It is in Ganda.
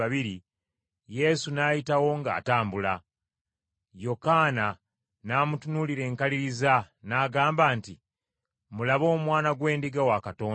Yesu n’ayitawo ng’atambula. Yokaana n’amutunuulira enkaliriza n’agamba nti, “Mulabe Omwana gw’Endiga wa Katonda.”